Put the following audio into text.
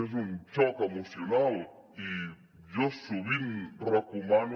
és un xoc emocional i jo sovint recomano